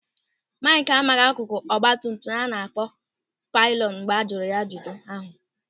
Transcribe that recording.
Maịkị amaghị akụkụ ọgbatumtum a na-akpọ pịlịọnụ mgbe a jụrụ ya ajụjụ ahụ.